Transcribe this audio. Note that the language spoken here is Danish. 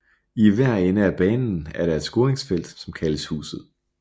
I hver ende af banen er der et scoringsfelt som kaldes huset